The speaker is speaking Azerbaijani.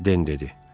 Den dedi.